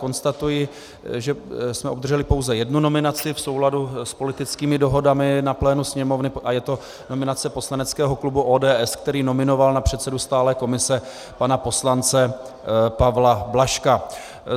Konstatuji, že jsme obdrželi pouze jednu nominaci v souladu s politickými dohodami na plénu Sněmovny, a je to nominace poslaneckého klubu ODS, který nominoval na předsedu stálé komise pana poslance Pavla Blažka.